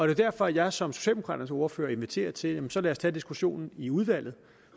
er derfor at jeg som socialdemokraternes ordfører inviterer til at vi så kan tage diskussionen i udvalget